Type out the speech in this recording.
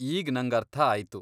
ಈಗ್ ನಂಗರ್ಥ ಆಯ್ತು.